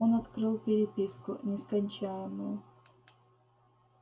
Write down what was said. он открыл переписку нескончаемую